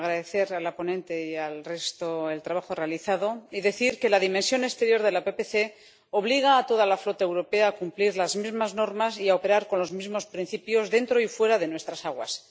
Quiero agradecer a la ponente y al resto el trabajo realizado y decir que la dimensión exterior de la PPC obliga a toda la flota europea a cumplir las mismas normas y a operar con los mismos principios dentro y fuera de nuestras aguas.